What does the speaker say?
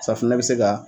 Safunɛ bɛ se ka